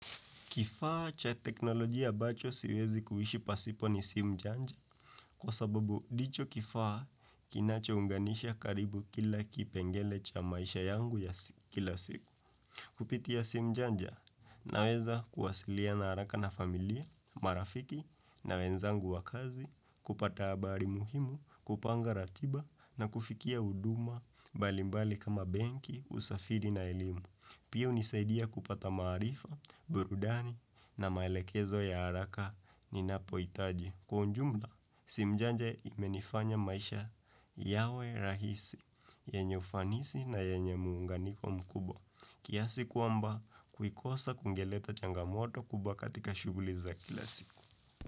Kifaa cha teknolojia ambacho siwezi kuhishi pasipo ni simu janja, kwa sababu ndicho kifaa kinacho unganisha karibu kila kipengele cha maisha yangu ya kila siku. Kupitia simu janja naweza kuwasilia haraka na familia, marafiki na wenzangu wa kazi, kupata habari muhimu, kupanga ratiba na kufikia huduma mbalimbali kama benki, usafiri na elimu. Pia unisaidia kupata maarifa, burudani na maelekezo ya haraka ni napoitaji. Kwa ujumla, simu janja imenifanya maisha yawe rahisi, yenye ufanisi na yenye muunganiko mkubwa. Kiasi kwamba kukosa kungeleta changamoto kubwa katika shuguli za kila siku.